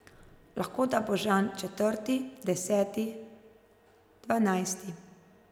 Lahko da bo Žan četrti, deseti, dvanajsti...